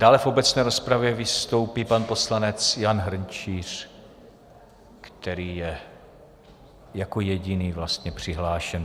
Dále v obecné rozpravě vystoupí pan poslanec Jan Hrnčíř, který je jako jediný vlastně přihlášen.